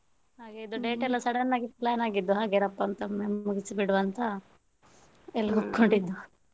ಹಾಗೆ ಇದು date ಎಲ್ಲ sudden ಆಗಿ plan ಆಗಿದ್ದು, ಹಾಗೆ ರಪ್ಪಂತ ಎಲ್ಲ ಮುಗ್ಸಿ ಬಿಡುವ ಅಂತ ಎಲ್ಲರು ಒಪ್ಪಿಕೊಂಡಿದ್ದು.